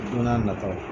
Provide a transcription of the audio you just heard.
Don n'a nataw la